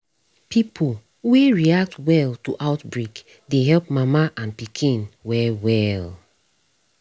pipo wey react well to outbreak dey help mama and pikin well well